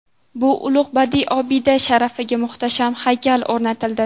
Bu ulug‘ badiiy obida sharafiga muhtasham haykal o‘rnatildi.